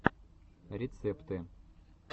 рецепты